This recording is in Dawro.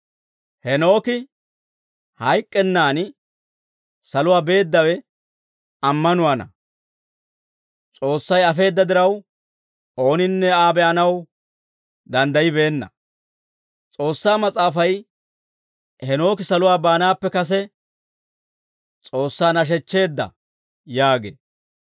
Heenooki hayk'k'ennan saluwaa beeddawe ammanuwaana; S'oossay afeedda diraw, ooninne Aa be'anaw danddayibeenna. S'oossaa Mas'aafay, «Heenooki saluwaa baanaappe kase S'oossaa nashechcheedda» yaagee.